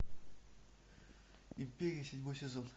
империя седьмой сезон